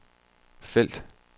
felt